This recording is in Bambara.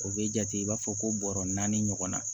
O bɛ jate i b'a fɔ ko bɔrɔ naani ɲɔgɔnna